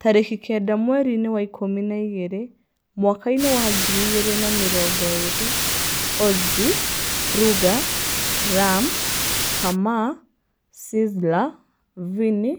tariki kenda mwerinĩ wa ikũmi na igĩri, mwakainĩ wa ngiri igĩrĩ na mĩrongo ĩri: Ozi, Ruger, Ram, Kamaa, Sizzla, Vinny